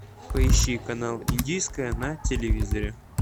поищи канал индийское на телевизоре